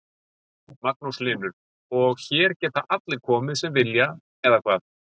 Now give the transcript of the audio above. Magnús Hlynur: Og, hér geta allir komið sem vilja eða hvað?